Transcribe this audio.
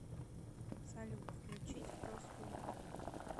салют включить простоупали